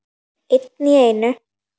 Einn í einu.